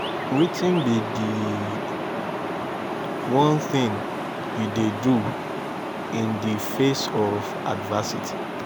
wetin be di one thing you dey do in di face of adversity?